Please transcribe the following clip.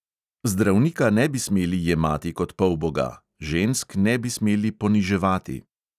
Zdravnika ne bi smeli jemati kot polboga, žensk ne bi smeli poniževati.